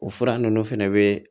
O fura ninnu fɛnɛ bɛ